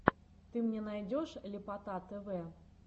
ты мне найдешь ляпота тв